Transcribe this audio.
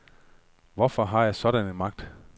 Hvorfor har jeg sådan en magt?